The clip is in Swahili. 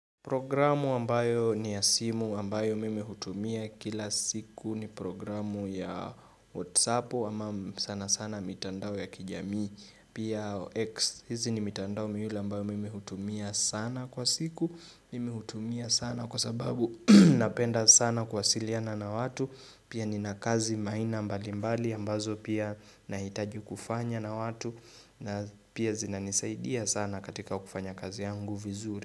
Programu ambayo ni ya simu ambayo mimi hutumia kila siku ni programu ya whatsappu ama sana sana mitandao ya kijamii. Pia X hizi ni mitandao miwili ambayo mimi hutumia sana kwa siku. Mimi hutumia sana kwa sababu napenda sana kuwasiliana na watu. Pia ninakazi maina mbali mbali ambazo pia nahitaji kufanya na watu na pia zinanisaidia sana katika kufanya kazi yangu vizuri.